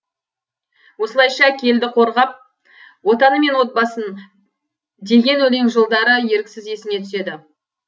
осылайша келді қорғап отаны мен отбасын деген өлең жолдары еріксіз есіңе түседі